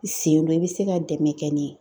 I sen do i be se ka dɛmɛ kɛ ne ye.